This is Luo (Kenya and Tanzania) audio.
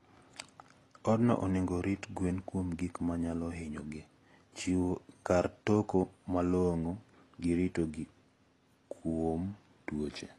Odno onego orit gwen kuom gik manyalo hinyo gi, chiwo kar toko malong`o gi rito gi kuom tuoche.